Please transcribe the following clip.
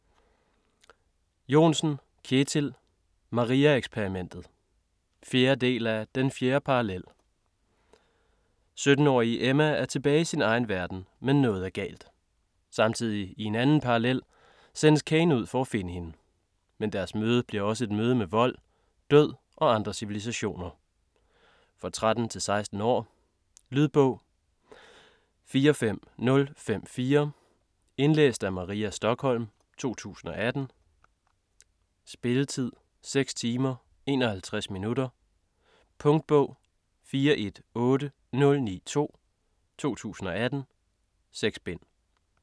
Johnsen, Kjetil: Maria-eksperimentet 4. del af Den fjerde parallel. 17 årige Emma er tilbage i sin egen verden, men noget er galt. Samtidig i en anden parallel, sendes Caine ud for at finde hende. Men deres møde bliver også et møde med vold, død og andre civilisationer. Fir 13-16 år. Lydbog 45054 Indlæst af Maria Stokholm, 2018. Spilletid: 6 timer, 51 minutter. Punktbog 418092 2018. 6 bind.